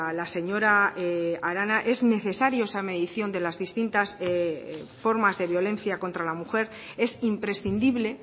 la señora arana es necesario esa medición de las distintas formas de violencia contra la mujer es imprescindible